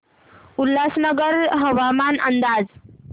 उल्हासनगर हवामान अंदाज